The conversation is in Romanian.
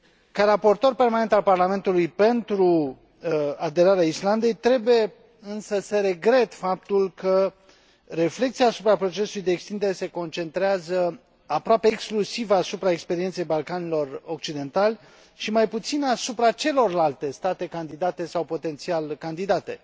Ca raportor permanent al Parlamentului pentru aderarea Islandei, trebuie însă să regret faptul că reflecția asupra procesului de extindere se concentrează, aproape exclusiv, asupra experienței Balcanilor Occidentali și mai puțin asupra celorlalte state candidate sau potențial candidate.